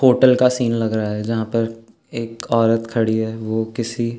hotel का scene लग रहा है जहाँपर एक औरत खड़ी है वो किसी --